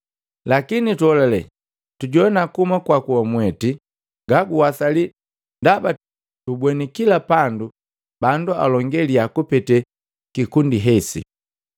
Lakini tuholale tujoana kuhuma kwaku wamweti gaguwasali ndaba tubweni kila pandu bandu alonge liyaa kupete kikundi hesi.”